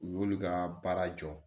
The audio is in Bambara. U y'olu ka baara jɔ